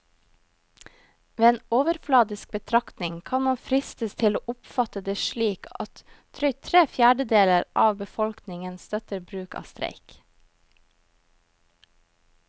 Ved en overfladisk betraktning kan man fristes til å oppfatte det slik at drøyt tre fjerdedeler av befolkningen støtter bruk av streik.